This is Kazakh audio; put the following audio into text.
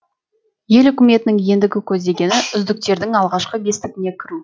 ел үкіметінің ендігі көздегені үздіктердің алғашқы бестігіне кіру